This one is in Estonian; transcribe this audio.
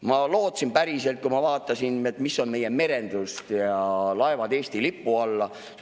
Ma lootsin päriselt, kui ma vaatasin, mis on meie merendus, "Laevad Eesti lipu alla".